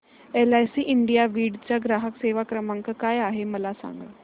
LIC India Beed चा ग्राहक सेवा क्रमांक काय आहे मला सांग